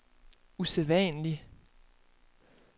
usædvanlig